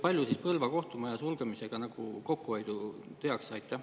Palju siis Põlva kohtumaja sulgemisega kokku hoitakse?